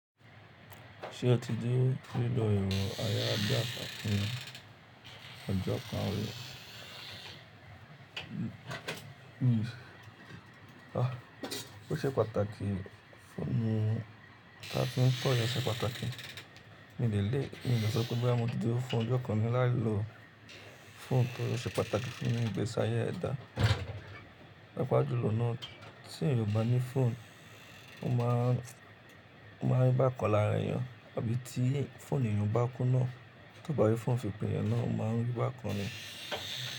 Ṣé o ti dé tí lo èrò ayarabiasa ọjọ́ kan rí? Óṣe pàtàkì fún mi, a ti ń kọ́ yàn ṣe pàtàkì. Nínú ilé mi ì, lè sọ pé bóyá mo ti dúró fún ọjọ́ kan rí láì lo fóònù torí ó ṣe pàtàkì fún ni ní ìgbésí ayé ẹ̀dá. Pàápàá jùlọ náà tí èèyàn òbá ní fóònù, ó ma ń ó ma ń rí bákan lára èèyàn. Àbí tí fóònù èèyàn bá kú náà, tóò bá rí fóònù fi pè yàn náà ó ma ń rí bákan ni.